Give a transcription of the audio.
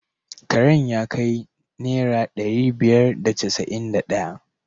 Karen ya kai naira dari biyar da casa’in da daya.